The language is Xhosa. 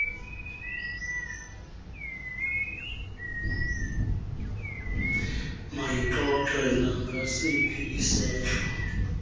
mayixoxe nangasiphi isehlo